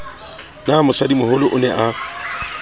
na mosadimoholo o ne a